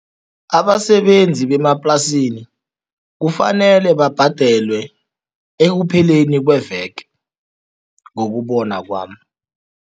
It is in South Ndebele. Abasebenzi bemaplasini kufanele babhadelwe ekupheleni kweveke, ngokubona kwami.